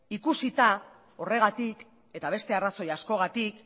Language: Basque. ikusita horregatik eta beste arrazoia askorengatik